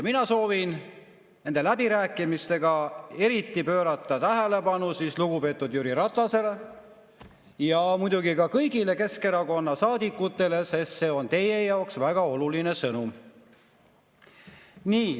Mina soovin, et nendele läbirääkimistele pööraks erilist tähelepanu lugupeetud Jüri Ratas ja muidugi kõik Keskerakonna saadikud, sest siin on teie jaoks väga oluline sõnum.